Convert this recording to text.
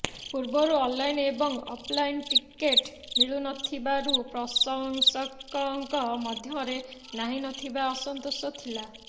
ପୂର୍ବରୁ ଅନଲାଇନ୍ ଏବଂ offline ticket ମିଳୁନଥିବାରୁ ପ୍ରଶଂସକଙ୍କ ମଧ୍ୟରେ ନାହିଁ ନଥିବା ଅସନ୍ତୋଷ ଥିଲା